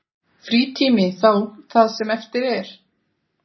Frítími þá það sem eftir er?